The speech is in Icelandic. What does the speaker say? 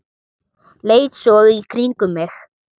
Leit svo í kringum mig.